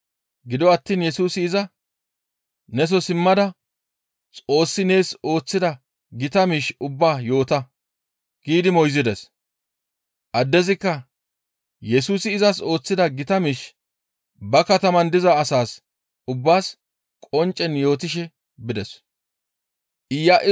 Gido attiin Yesusi iza, «Neso simmada Xoossi nees ooththida gita miish ubbaa yoota» giidi moyzides; addezikka Yesusi izas ooththida gita miish ba kataman diza asaas ubbaas qonccen yootishe bides.